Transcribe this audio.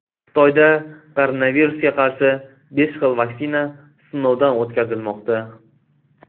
Xitoyda koronavirusga qarshi besh xil vaksina sinovdan o‘tkazilmoqda.